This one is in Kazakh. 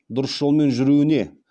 дұрыс жолмен жүруіне